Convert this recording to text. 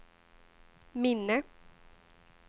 minne